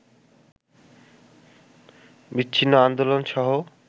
বিচ্ছিন্ন আন্দোলনসহ